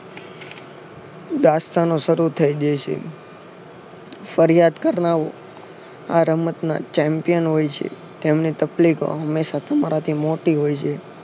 દાસ્તાન શરૂ થઈ દે છે ફરિયાદ કરનારાઓ આ રમત ના champion હોય છે તેમને તકલીફ હંમેશા તમારાથી મોટી હોય છે